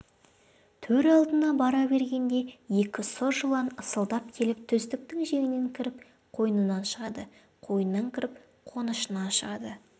төр алдына бара бергенде екі сұр жылан ысылдап келіп төстіктің жеңінен кіріп қойнынан шығады қойнынан кіріп қонышынан шығады